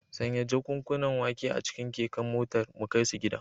Sanya jakunkunan wake a cikin keken motar mu kai su gida.